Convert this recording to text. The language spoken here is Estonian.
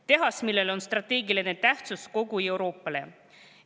Sellel tehasel on strateegiline tähtsus kogu Euroopale.